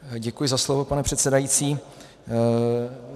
Děkuji za slovo, pane předsedající.